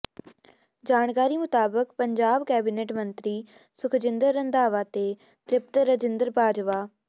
ਜਾਣਕਾਰੀ ਮੁਤਾਬਕ ਪੰਜਾਬ ਕੈਬਨਿਟ ਮੰਤਰੀ ਸੁਖਜਿੰਦਰ ਰੰਧਾਵਾ ਤੇ ਤ੍ਰਿਪਤ ਰਜਿੰਦਰ ਬਾਜਵਾ